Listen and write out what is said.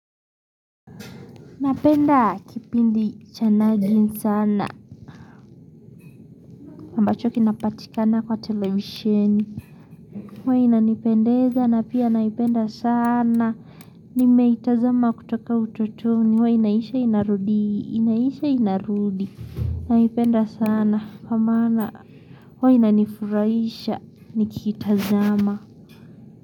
Napenda kipindi cha nagin sana, ambacho kinapatikana kwa televisheni. Huwa inanipendeza na pia naipenda sana, nimetazama kutoka utotoni, huwa inaisha inarudi, inaisha inarudi. Naipenda sana, kwa maana, huwe inanifurahisha, nikiitazama.